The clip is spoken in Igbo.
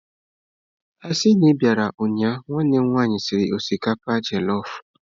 Asi na i biara ụnyahụ, nwanne m nwanyi siri osikapa jelọf.